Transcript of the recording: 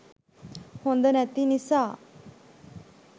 හොද නැති නිසා